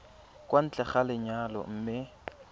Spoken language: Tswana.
kwa ntle ga lenyalo mme